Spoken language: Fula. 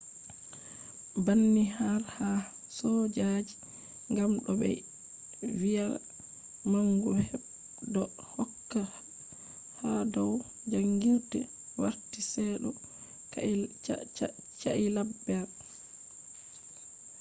banni har ha soojaji gam do be viya mangu bedo hokka hadau jangirde warti se do cailaber